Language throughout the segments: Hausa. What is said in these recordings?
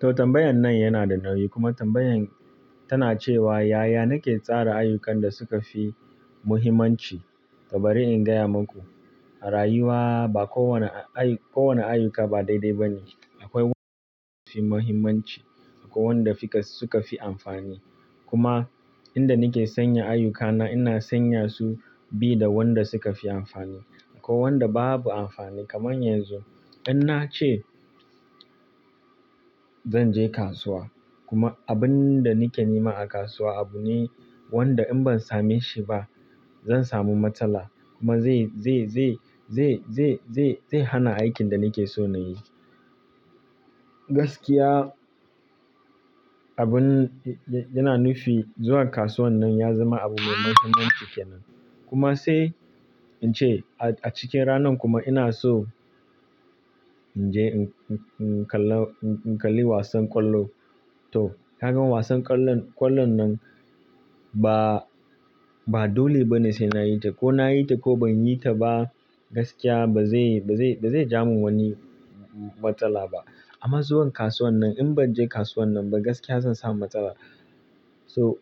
To tambayan nan yana da nauyi kuma tambayan tana cewa, “Yaya nake tsara ayyukan da suka fi muhimmanci?” To bari in gaya maku, a rayuwa ba kowane a-ayi-- kowane ayyuka ba daidai ba ne. Akwai wanda fi muhimmanci akwai wanda fika-- suka fi amfani. Kuma inda nike sanya ayyukana ina sanya su bi da wanda suka fi amfani akwai wanda babu amfani. Kaman yanzu, in nace zan je kasuwa kuma abun da nake nema a kasuwa abu ne wanda in ban same shi ba zan samu matsala kuma zai, zai, zai, zai, zai, zai, zai hana aikin da nike so nayi. Gaskiya abun yana nufi zuwa kasuwan nan ya zama abu mai mahimmanci kenan. Kuma sai in ce a cikin ranan kuma ina so in je in, in, in kalla-- in kalli wasan kwallo. To, ka gan wasan kwallon, kwallon nan ba, ba dole bane sai nayi ta ko nayi ta ko banyi ta ba gaskiya ba zai, ba zai, ba zai ja mu wani matsala ba. Amma zuwan kasuwan nan in ban je kasuwan nan ba gaskiya zan samu matsala. So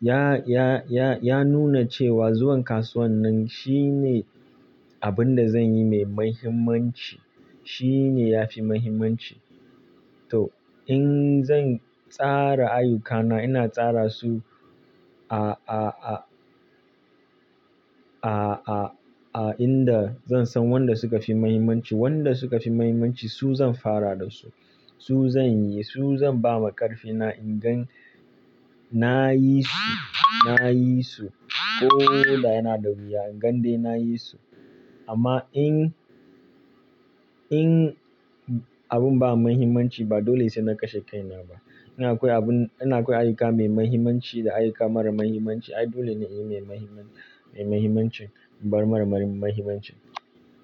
ya, ya, ya, ya nuna cewa zuwan kasuwan nan shine abun da zanyi mai mahimmanci, shine yafi mahimmanci. To in zan tsara ayyukana ina tsara su a, a, a, a, a, a inda zan san wanda suka fi mahimmanci. Wanda suka fi mahimmanci su zan fara da su, su zanyi su zan bawa karfina. In gan nayi su, nayi su ko da yana da wuya, gandeen nayi su. Amma in, in abun ba mahimmanci ba dole sai na kashe kai na ba. Ina akwai abun-- ina akwai ayyuka mai mahimmanci da ayyuka mara mahimmanci. Ai dole ne in yi mai mahimman-- mai mahimmanci ban mara, mara mahimmanci.